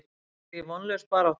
Er þetta ekki vonlaus barátta?